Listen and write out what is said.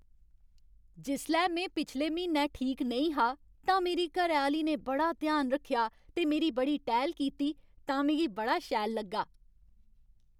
जिसलै में पिछले म्हीनै ठीक नेईं हा तां मेरी घरैआह्ली ने बड़ा ध्यान रक्खेआ ते मेरी बड़ी टैह्ल कीती तां मिगी बड़ा शैल लग्गा।